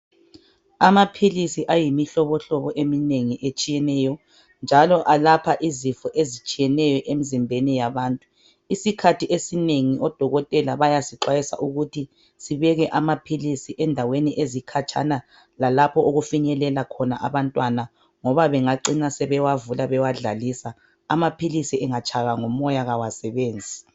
Amaphilisi ayimihlobohlobo eminengi ehlukeneyo njalo alapha izifo ezitshiyeneyo emizimbeni yabantu isikhathi esinengi odokotela bayasixwayisa ukuthi sibeke amaphilisi endaweni ezikhatshana lalapho okufinyelela khona abantwana ngoba bengacina bewavula abewadlalisa amaphilisi engatshaywa ngumoya kawasebenzi.